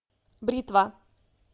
бритва